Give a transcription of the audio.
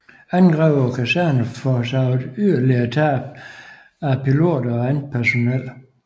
Angreb på kaserner forårsagede yderligere tab af piloter og andet personel